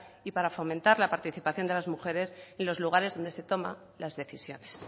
y para fomentar la participación de las mujeres en los lugares donde se toman las decisiones